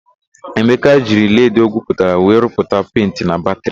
Emeka jiri leedị o gwuputara were rụpụta penti na batịrị.